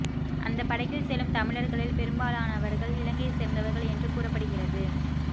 அந்த படகில் செல்லும் தமிழர்களில் பெரும்பாலானவர்கள் இலங்கையைச் சேர்ந்தவர்கள் என்று கூறப்படுகிறது